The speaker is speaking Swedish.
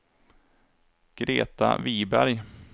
Greta Viberg